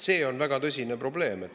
See on väga tõsine probleem.